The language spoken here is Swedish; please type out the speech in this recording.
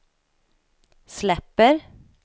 släpper